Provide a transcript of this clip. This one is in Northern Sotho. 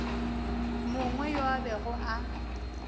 mongwe yo a bego a